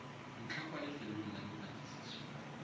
ntlha kwa lefelong la dipatlisiso